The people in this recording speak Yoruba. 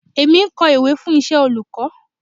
Èmi ń kọ ìwé fún iṣẹ́ olùkọ́.